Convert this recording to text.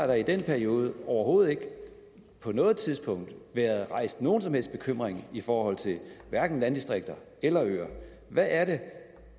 der i den periode overhovedet ikke på noget tidspunkt været rejst nogen som helst bekymring i forhold til hverken landdistrikter eller øer hvad er det